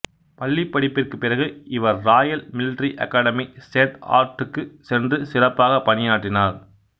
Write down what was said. பள்ளிப்படிப்பிற்கு பிறகு இவர் Royal Military Academy சேன்ட் ஹார்ட்க்கு சென்று சிறப்பாக பணியாற்றினார்